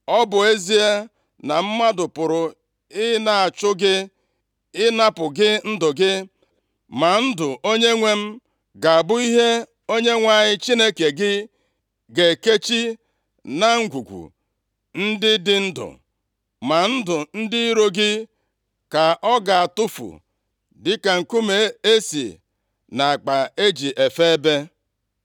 Ọ bụ ezie na mmadụ pụrụ ị na-achụ gị ịnapụ gị ndụ gị, ma ndụ onyenwe m ga-abụ ihe Onyenwe anyị Chineke gị ga-ekechi na ngwungwu ndị dị ndụ. Ma ndụ ndị iro gị ka ọ ga-atụfu dịka nkume esi nʼakpa e ji efe ebe.